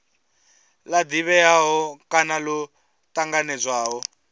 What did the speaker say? la divhea kana lo tanganedzwaho